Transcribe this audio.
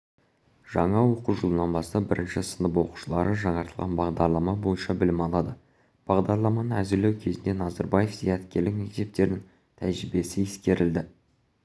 жаңа оқу жылынан бастап бірінші сынып оқушылары жаңартылған бағдарлама бойынша білім алады бағдарламаны әзірлеу кезінде назарбаев зияткерлік мектептерінің тәжірибесі ескерілді